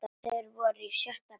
Þeir voru í sjötta bekk.